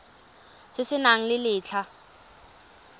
se se nang le letlha